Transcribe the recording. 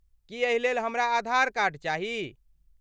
की एहिलेल हमरा आधार कार्ड चाही?